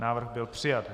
Návrh byl přijat.